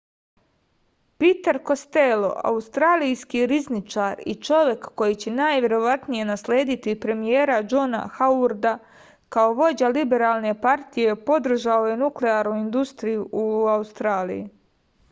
piter kostelo australijski rizničar i čovek koji će najverovatnije naslediti premijera džona hauarda kao vođa liberalne partije podržao je nuklearnu industriju u australiji